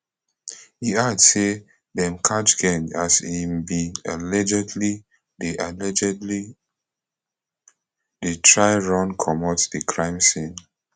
e add say dem catch geng as e bin allegedly dey allegedly dey try run comot di crime scene